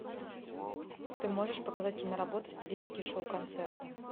ты можешь показать киноработу в стилистике шоу концерта